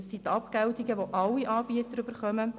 Dies sind die Abgeltungen, die alle Anbieter erhalten.